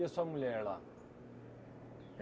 E a sua mulher lá?